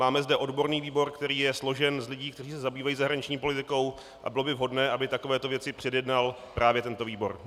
Máme zde odborný výbor, který je složen z lidí, kteří se zabývají zahraniční politikou, a bylo by vhodné, aby takovéto věci předjednal právě tento výbor.